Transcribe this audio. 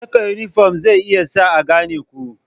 Saka yunifom zai iya sa a gane ku.